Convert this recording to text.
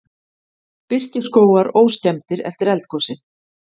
Birkiskógar óskemmdir eftir eldgosið